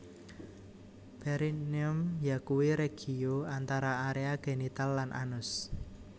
Perineum yakuwi regio antara area genital lan anus